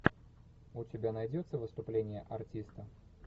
у тебя найдется выступление артиста